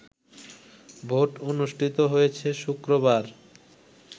vote অনুষ্ঠিত হয়েছে শুক্রবার